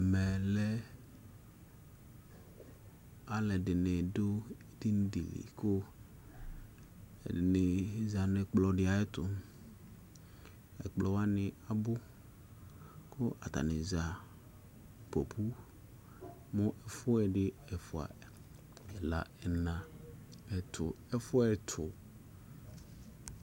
Mɛ lɛ alɛdini du edinidini ku ɛdini za nu ɛkplɔdi ayitu ɛkplɔwani abʊ ku atani za popʊ mu ɛfuɛ di ɛfua ɛla ɛna ɛtʊ